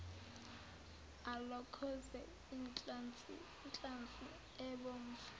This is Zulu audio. alokoze inhlansi ebomvu